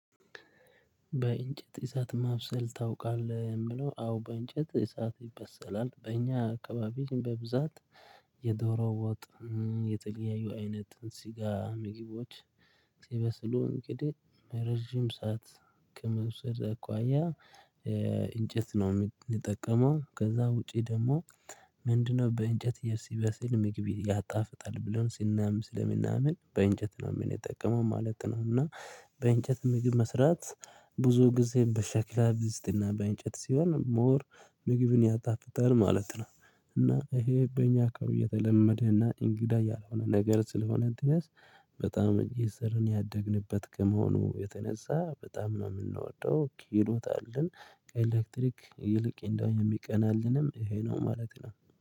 በእንጨት እሳት ማብሰል ታውቃለህ? የምለው አዎ በእንጨት እሳት ይበሰላል በእኛ አካባቢ በብዛት የዶሮ ወጥ የተለያዩ አይነት ስጋ ምግቦች። ሲበስሉ እንግዲህ ረጅም ሰዓት ከመውሰድ አኳያ። እንጨት ነው የምንጠቀመው ከዛ ውጪ ደግሞ ምንድነው በእንጨት የሲበስል ምግቢ ያጣፍጣል ብለን ስናም ስለምናምን በእንጨት ነው የምንጠቀመው ማለት ነው። እና በእንጨት ምግብ መስራት ብዙ ጊዜ በሸክላ ድስት እና በእንጨት ሲሆን ሞር ምግብን ያጣፍጣል ማለት ነው። እና ይሄ በእኛ አካባቢ የተለመደ እና እንግዳ ያልሆነ ነገር ስለሆነ ድረስ በጣም እየሰራን ያደግንበት ከመሆኑ የተነሳ በጣም ነው የምንወደው ክህሎት አለን። ከኤሌክትሪክ ይልቅ እንደው የሚቀናልንም ይሄ ነው ማለት ነው